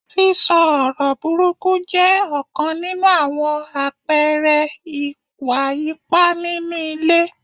Sísọ ọ̀rọ̀ burúkú jẹ́ ọ̀kan nínú àwọn àpẹẹrẹ ìwà ipá nínú ilé.